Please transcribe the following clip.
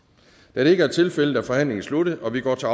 da det ikke er tilfældet er forhandlingen sluttet og vi går til